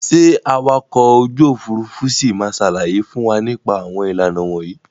Ṣé awakọ̀ ojú òfuurufú ṣì ma sàlàyé fún wa nípa àwọn ìlànà wọ̀nyí?